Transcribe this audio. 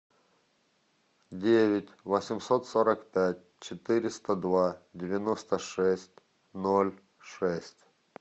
девять восемьсот сорок пять четыреста два девяносто шесть ноль шесть